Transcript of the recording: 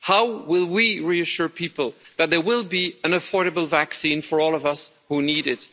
How will we reassure people that there will be an affordable vaccine for all of us who need it?